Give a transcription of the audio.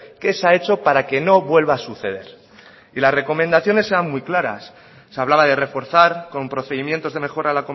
qué se ha hecho para que no vuelva a suceder y las recomendaciones eran muy claras se hablaba de reforzar con procedimientos de mejora